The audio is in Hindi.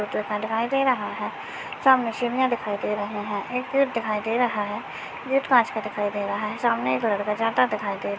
दिखाई दे रहा है सामने सिडिया दिखाई दे रही है एक गेट दिखाई दे रहा है गेट कांच का दिखाई दे रहा है सामने एक लड़का जाता दिखाई--